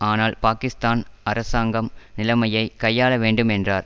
ஆனால் பாக்கிஸ்தான் அரசாங்கம் நிலைமையை கையாளவேண்டும் என்றார்